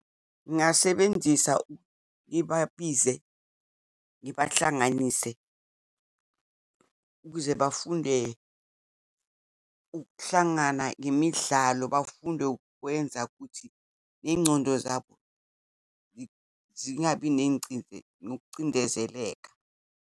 Ngingasebenzisa, ngibabize ngibahlanganise, ukuze bafunde ukuhlangana ngemidlalo, bafunde ukwenza kuthi neyingcondo zabo zingabi nokucindezeleka.